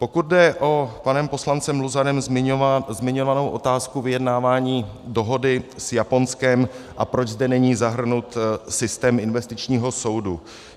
Pokud jde o panem poslancem Luzarem zmiňovanou otázku vyjednávání dohody s Japonskem, a proč zde není zahrnut systém investičního soudu.